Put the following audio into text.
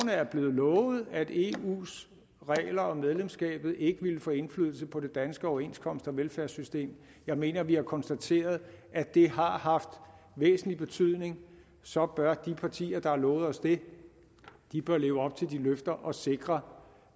er blevet lovet at eus regler og medlemskabet ikke ville få indflydelse på det danske overenskomsts og velfærdssystem jeg mener at vi har konstateret at det har haft væsentlig betydning så bør de partier der har lovet os det leve op til de løfter og sikre